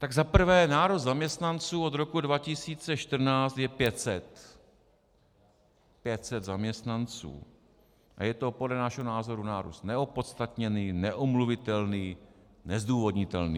Tak za prvé nárůst zaměstnanců od roku 2014 je 500, 500 zaměstnanců, a je to podle našeho názoru nárůst neopodstatněný, neomluvitelný, nezdůvodnitelný.